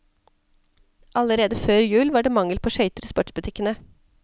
Allerede før jul var det mangel på skøyter i sportsbutikkene.